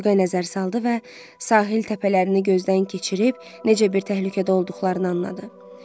Üfüqə nəzər saldı və sahil təpələrini gözdən keçirib necə bir təhlükədə olduqlarını anladı.